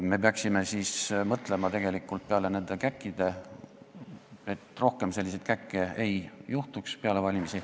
Me peaksime mõtlema, et peale valimisi rohkem selliseid käkke ei juhtuks.